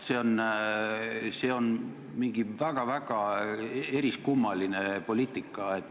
See on mingi väga-väga eriskummaline poliitika.